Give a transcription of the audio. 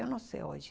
Eu não sei hoje.